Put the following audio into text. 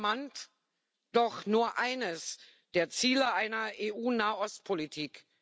Das ist charmant, doch nur eines der Ziele einer EU Nahostpolitik.